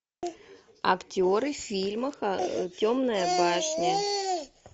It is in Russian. актеры фильма темная башня